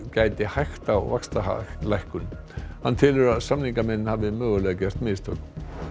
gæti hægt á vaxtalækkun hann telur að samningamenn hafi mögulega gert mistök